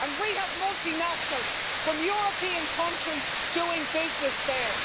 And we have multi-nationals from European countries doing business there.